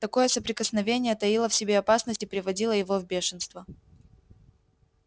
такое соприкосновение таило в себе опасность и приводило его в бешенство